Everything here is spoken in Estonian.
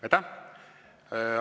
Aitäh!